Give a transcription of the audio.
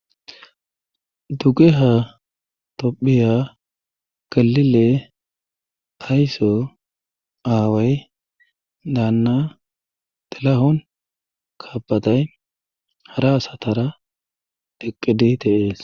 dugeha topphiya galile hayso aaway daanna telahon kaabatay hara asatara dheqqidi tehees